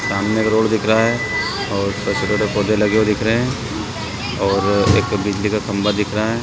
सामने एक रोड दिख रहा है और कचड़े में पौधे लगे हुए दिख रहे है और एक बिजली का खम्बा दिख रहा है।